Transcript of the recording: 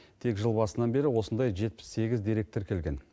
тек жыл басынан бері осындай жетпіс сегіз дерек тіркелген